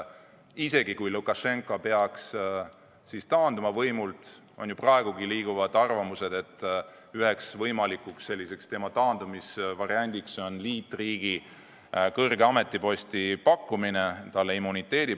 Isegi kui Lukašenka peaks võimult taanduma – praegu ju liiguvad arvamused, et üks võimalik variant tema taandumiseks on pakkuda talle kõrget ametiposti liitriigis, pakkuda immuniteeti.